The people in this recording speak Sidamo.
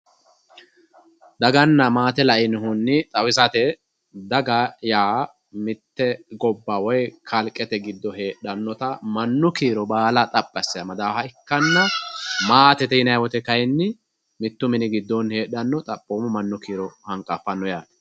daganna maate la"inohunni xawisate daga yaa mitte gobba woy kalqete giddo heedhannota mannu kiiro baala xaphi asse amadawooha ikkanna maatete yinayii woyiite kayiinni mittu mini giddoonni heedhannota xaphoomu mannu kiiro hanqaffanno yaate.